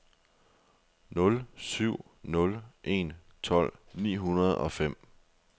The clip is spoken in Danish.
nul syv nul en tolv ni hundrede og fem